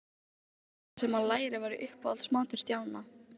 Hvarvetna í grasgrónum lautum á ég minningar, herra.